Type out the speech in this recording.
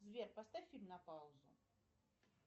сбер поставь фильм на паузу